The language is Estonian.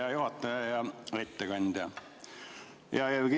Hea juhataja ja ettekandja!